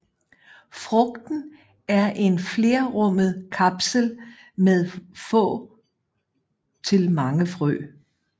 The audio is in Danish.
Frugten er en flerrummet kapsel med få til mange frø